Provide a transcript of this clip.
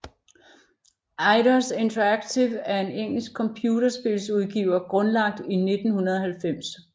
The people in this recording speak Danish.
Eidos Interactive er en engelsk computerspilsudgiver grundlagt i 1990